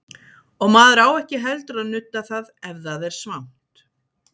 Og maður á ekki heldur að nudda það ef það er svangt.